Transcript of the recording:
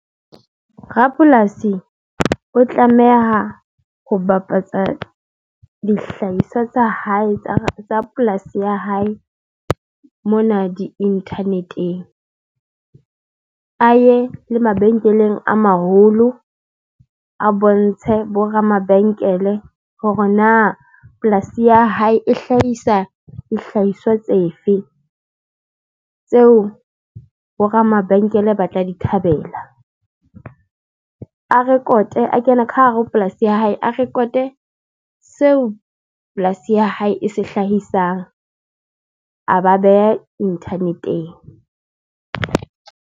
Rapolasi o tlameha ho bapatsa dihlahiswa tsa hae tsa polasi ya hae mona di-internet-eng aye le mabenkeleng a maholo a bontshe bo ramabenkele hore na polasi ya hae e hlahisa dihlahiswa tsefe tseo bo ramabenkele ba tla di thabela a record-e a kena ka hare ho polasi ya hae, a record-e seo polasi ya hae e se hlahisang a ba beha inthaneteng.